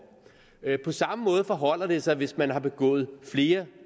på samme måde forholder det sig hvis man har begået flere